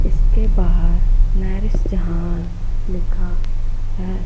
इसके बाहर लिखा है।